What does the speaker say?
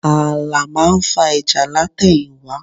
Ààlà máa ń fa ìjà látẹ̀yìnwá